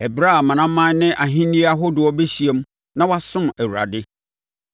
ɛberɛ a amanaman ne ahennie ahodoɔ bɛhyiam na wɔasom Awurade.